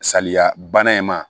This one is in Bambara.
Saliya bana in ma